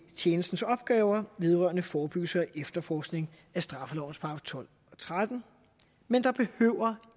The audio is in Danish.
tjenestens opgaver vedrørende forebyggelse og efterforskning straffelovens § tolv og trettende men der behøver